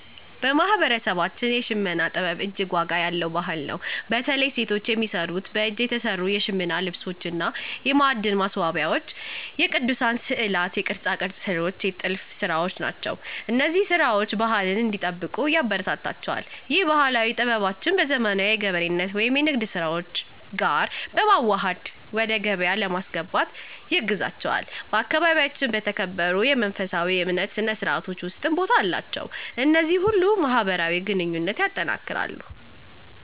በማህበረሰባችን የሽመና ጥበብ እጅግ ዋጋ ያለው ባህል ነው። በተለይ ሴቶች የሚሰሩት በእጅ የተሰሩ የሽመና ልብሶች እና የማዕድ ማስዋብያዎች፣ የቅዱሳን ሥዕላት፣ የቅርጻቅርጽ ሥራዎች፣ የጥልፍ ሥራዎች ናቸው። እነዚህ ሥራዎች ባህልን እንዲጠብቁ ያበረታታቸዋል። ይህም ባህላዊ ጥበባቸውን በዘመናዊ የገበሬነት ወይም የንግድ ስራዎች ጋር በማዋሃድ ወደ ገበያ ለማስገባት ያግዛቸዋል። በአካባቢያችን በተከበሩ የመንፈሳዊ እምነት ሥነ ሥርዓቶች ውስጥም ቦታ አላቸው። እነዚህ ሁሉ ማህበራዊ ግንኙነትን ያጠናክራሉ።